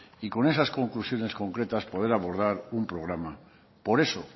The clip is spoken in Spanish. y con esas conclusiones concretas poder abordar un programa por eso